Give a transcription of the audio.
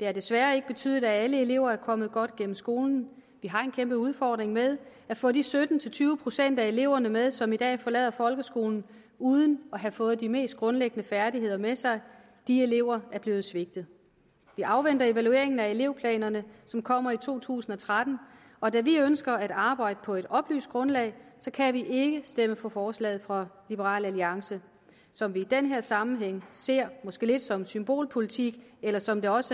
det har desværre ikke betydet at alle elever er kommet godt igennem skolen vi har en kæmpe udfordring med at få de sytten til tyve procent af eleverne med som i dag forlader folkeskolen uden at have fået de mest grundlæggende færdigheder med sig de elever er blevet svigtet vi afventer evalueringen af elevplanerne som kommer i to tusind og tretten og da vi ønsker at arbejde på et oplyst grundlag kan vi ikke stemme for forslaget fra liberal alliance som vi i den her sammenhæng ser måske som symbolpolitik eller som det også